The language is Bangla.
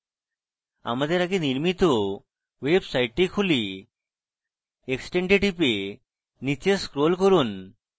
আমাদের আগে নির্মিত website খুলি extend we টিপে নীচে scroll করুন